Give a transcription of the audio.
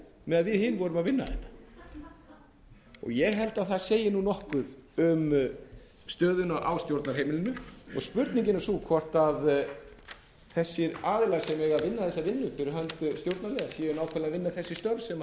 meðan við hin vorum að vinna þetta ég held að það segi nokkuð um stöðuna á stjórnarheimilinu og spurningin er sú hvort þessir aðilar sem eiga að vinna þessa vinnu fyrir hönd stjórnarliða séu nákvæmlega að vinna þessi störf sem